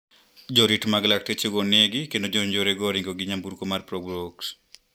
Jorit mag laktechego onegi kendo jonjorego oringo gi nyamburko mar probox.